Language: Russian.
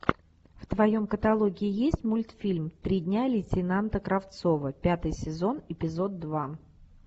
в твоем каталоге есть мультфильм три дня лейтенанта кравцова пятый сезон эпизод два